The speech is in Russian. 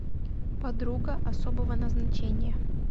подруга особого назначения